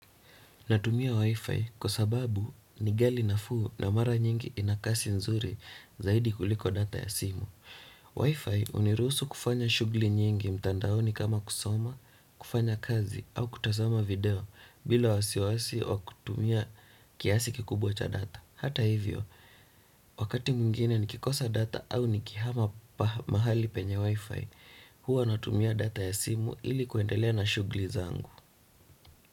Natumia Wi-Fi kwa sababu ingali nafuu na mara nyingi ina kasi nzuri zaidi kuliko data ya simu. Wi-Fi uniruhusu kufanya shugli nyingi mtandaoni kama kusoma, kufanya kazi au kutazama video bila wasiwasi au kutumia kiasi kikubwa cha data. Hata hivyo, wakati mwingine nikikosa data au nikihama mahali penye Wi-Fi, huwa natumia data ya simu ili kuendelea na shugli zangu.